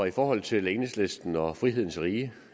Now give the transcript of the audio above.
i forhold til enhedslisten og frihedens rige